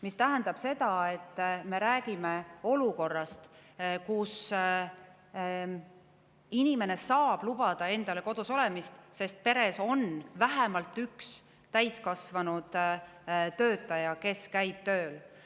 See tähendab seda, et me räägime olukorrast, kus inimene saab endale lubada kodus olemist, sest peres on vähemalt üks täiskasvanud töötaja, kes käib tööl.